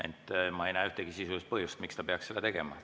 Ent ma ei näe ühtegi sisulist põhjust, miks ta peaks seda tegema.